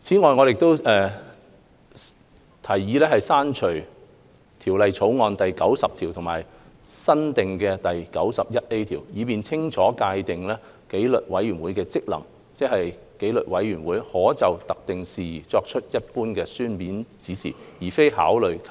此外，我們提議刪除《條例草案》第90條和加入新訂的第 91A 條，以更清楚界定紀律委員會的職能，即紀律委員會可就特定事宜作出一般書面指示，而非考慮及